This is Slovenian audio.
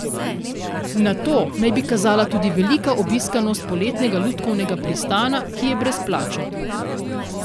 Na to naj bi kazala tudi velika obiskanost Poletnega lutkovnega pristana, ki je brezplačen.